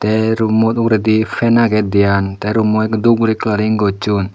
te room mo uguredi fan aage dian te room mo ole dhub guri colouring gochun.